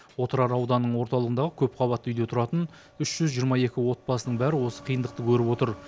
отырар ауданының орталығындағы көпқабатты үйде тұратын үш жүз жиырма екі отбасының бәрі осы қиындықты көріп отыр